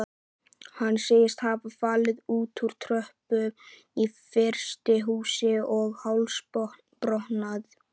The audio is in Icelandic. Hann segist hafa fallið úr tröppu í frystihúsi og hálsbrotnað.